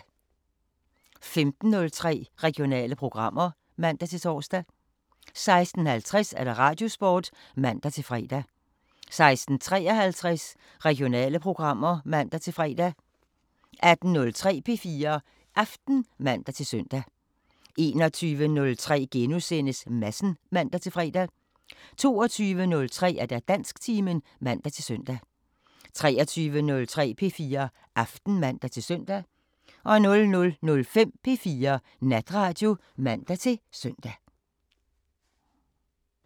15:03: Regionale programmer (man-tor) 16:50: Radiosporten (man-fre) 16:53: Regionale programmer (man-fre) 18:03: P4 Aften (man-søn) 21:03: Madsen *(man-fre) 22:03: Dansktimen (man-søn) 23:03: P4 Aften (man-søn) 00:05: P4 Natradio (man-søn)